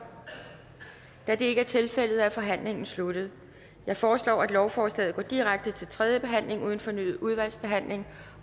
da det ikke er tilfældet er forhandlingen sluttet jeg foreslår at lovforslaget går direkte til tredje behandling uden fornyet udvalgsbehandling